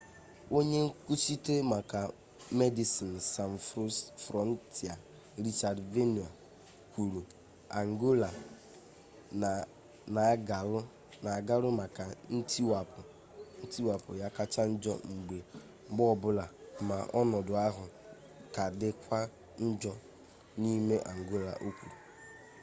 onye nkwuchite maka medecines sans frontiere richard veerman kwuru angola na-agaru maka ntiwapụ ya kacha njọ mgbe ọ bụla ma ọnọdụ ahụ ka dịkwa njọ n'ime angola o kwuru